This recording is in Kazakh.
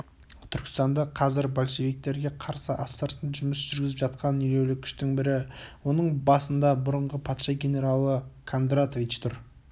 түркістанда қазір большевиктерге қарсы астыртын жұмыс жүргізіп жатқан елеулі күштің бірі оның басында бұрынғы патша генералы кондратович тұр